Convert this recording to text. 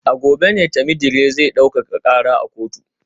A gobe ne Temidire zai daukaka kara a kotu